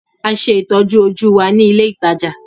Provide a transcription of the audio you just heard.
A ṣe ìtọ́jú-ojú wa ní ilé-ìtajà.